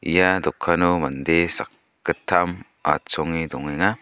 ia dokano mande sakgittam achonge dongenga.